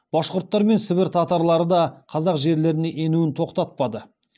башқұрттар мен сібір татарлары да қазақ жерлеріне енуін тоқтатпады